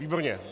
Výborně.